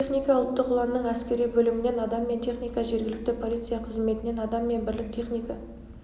техника ұлттық ұланның әскери бөлімінен адам мен техника жергілікті полиция қызметінен адам мен бірлік техника